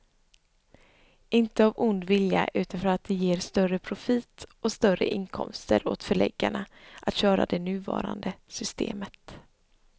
Inte av ond vilja utan för att det ger större profit och större inkomster åt förläggarna att köra det nuvarande systemet.